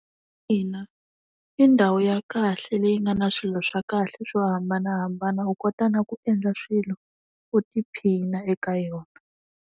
Ina, i ndhawu ya kahle leyi nga na swilo swa kahle swo hambanahambana u kota na ku endla swilo u tiphina eka yona.